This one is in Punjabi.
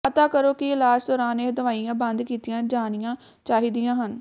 ਪਤਾ ਕਰੋ ਕਿ ਇਲਾਜ ਦੌਰਾਨ ਇਹ ਦਵਾਈਆਂ ਬੰਦ ਕੀਤੀਆਂ ਜਾਣੀਆਂ ਚਾਹੀਦੀਆਂ ਹਨ